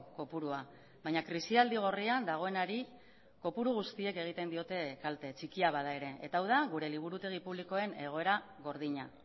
kopurua baina krisialdi gorrian dagoenari kopuru guztiek egiten diote kalte txikia bada ere eta hau da gure liburutegi publikoen egoera gordina